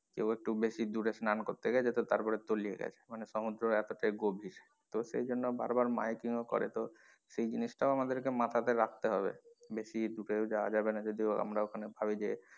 কেউ একটু বেশি দূরে স্নান করতে গেছে তো তারপরে তলিয়ে গেছে মানে সমুদ্র এতোটাই গভীর তো সেইজন্য বারবার mimicking ও করে তো সেই জিনিস টাও আমাদের কে মাথা তে রাখতে হবে বেশি দুরেও যাওয়া যাবে না যদিও আমরা ওখানে ভাবি যে,